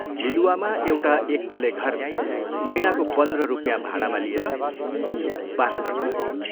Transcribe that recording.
लिलुवामा एउटा एक तले घर महीनाको पन्ध्र रुपियाँ भाडामा लिएर ऊ वास गर्न लाग्यो।